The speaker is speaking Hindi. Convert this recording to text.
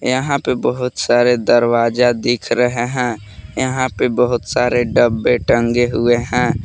यहां पे बहुत सारे दरवाजा दिख रहे हैं यहां पे बहुत सारे डब्बे टंगे हुए हैं।